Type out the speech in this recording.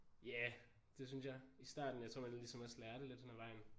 Ja det synes jeg i starten jeg tror man ligesom også lærer det lidt henad vejen